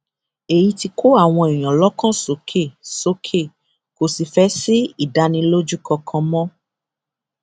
èyí ti kó àwọn èèyàn lọkàn sókè sókè kò sì fẹẹ sí ìdánilójú kankan mọ